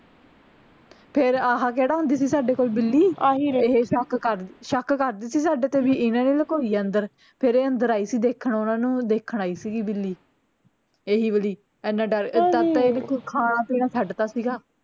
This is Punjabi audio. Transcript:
ਫੇਰ ਆਹ ਕੇਹੜਾ ਹੁੰਦੀ ਸੀ ਸਾਡੇ ਕੋਲ ਬਿੱਲੀ ਆਹੀ ਏਹੇ ਸ਼ੱਕ ਕਰਦੀ ਸ਼ੱਕ ਕਰਦੀ ਸੀ ਸਾਡੇ ਤੇ ਵੀ ਇਹਨਾਂ ਨੇ ਲਕੋਈ ਆ ਅੰਦਰ ਫੇਰ ਇਹ ਅੰਦਰ ਆਈ ਸੀ ਦੇਖਣ ਓਹਨਾਂ ਨੂੰ ਦੇਖਣ ਆਈ ਸੀਗੀ ਬਿੱਲੀ ਇਹੀ ਵਾਲੀ ਐਨਾ ਡਰ ਤਧ ਤਾਂ ਇਹਨੇ ਕੁੱਛ ਖਾਣਾ ਪੀਣਾ ਛੱਡ ਤਾ ਸੀਗਾ